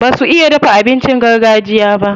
Basu iya dafa abincin gargajiya ba.